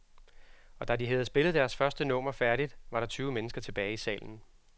Og da de havde spillet deres første nummer færdigt, var der tyve mennesker tilbage i salen.